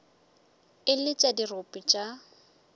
e le tša dirope tša